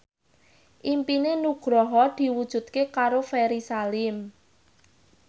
impine Nugroho diwujudke karo Ferry Salim